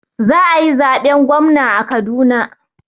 Za a yi zaben gwamna a Kaduna.